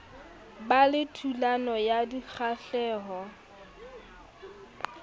ba le thulano ya dikgahleho